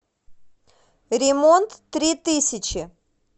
ремонттритысячи